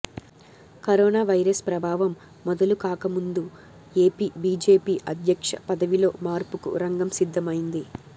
corona virus ప్రభావం మొదలు కాకముందు ఏపీ బీజేపీ అధ్యక్ష పదవిలో మార్పుకు రంగం సిద్ధమైంది